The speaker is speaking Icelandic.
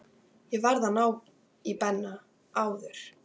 Ég varð að ná í Benna áður.